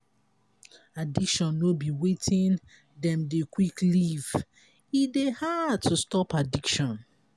addiction no be wetin dem dey quick leave e dey hard to stop addiction